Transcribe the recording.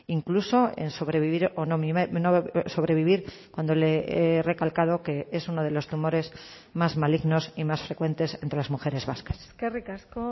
incluso en sobrevivir o no sobrevivir cuando le he recalcado que es uno de los tumores más malignos y más frecuentes entre las mujeres vascas eskerrik asko